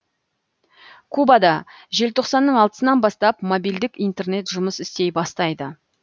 кубада желтоқсанның алтысынан бастап мобильдік интернет жұмыс істей бастайды